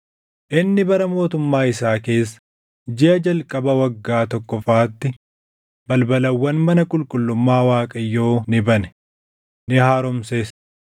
Inni bara mootummaa isaa keessa jiʼa jalqaba waggaa tokkoffaatti balbalawwan mana qulqullummaa Waaqayyoo ni bane; ni haaromses.